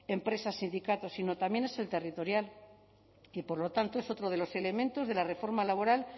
empresa sindicato sino también es el territorial y por lo tanto es otro de los elementos de la reforma laboral